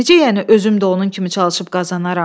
Necə yəni özüm də onun kimi çalışıb qazanaram?